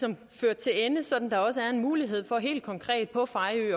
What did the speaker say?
kan føre til ende så der også er en mulighed for helt konkret på fejø